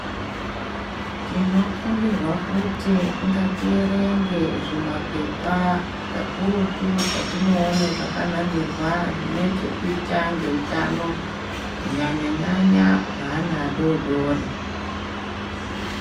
Tinokumbirwa kuti ngatierenge zvimapepa kakurutu zvatinoone zvakanamirwa zvinechekuita ngeutano. Kunyanya-nyanya hweana adoodori.